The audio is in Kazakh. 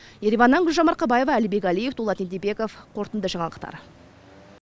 ереваннан гүлжан марқабаева әлібек әлиев дулат ентебеков қорытынды жаңалықтар